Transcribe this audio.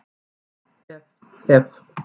Ef, ef, ef!